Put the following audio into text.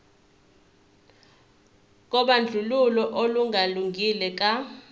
kobandlululo olungalungile ka